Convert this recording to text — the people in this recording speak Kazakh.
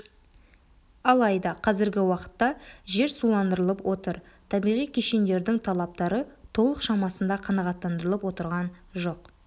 алайда қазіргі уақытта жер суландырылып отыр табиғи кешендердің талаптары толық шамасында қанағаттандырылып отырған жоқ